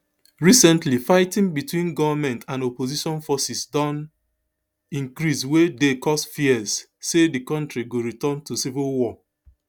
recently fighting between goment and opposition forces don increase wey dey cause fears say di kontri go return to civil war